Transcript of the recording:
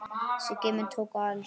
Þessir geymar tóku alls